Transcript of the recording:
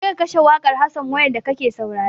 Je ka kashe wakar Hassan wayam da ka ke saurare!